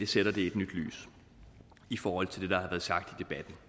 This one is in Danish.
sætter det i et nyt lys i forhold til det der har sagt